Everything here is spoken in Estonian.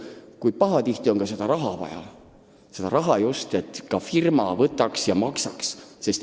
Kuid pahatihti on vaja ka raha, et firmad noori tööle võtaks ja neile maksaks.